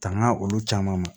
Tangan olu caman ma